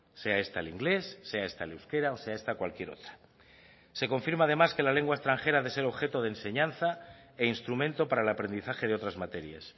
sea esta el inglés sea esta el euskera o sea esta cualquier otra se confirma además que la lengua extranjera ha de ser objeto de enseñanza e instrumento para el aprendizaje de otras materias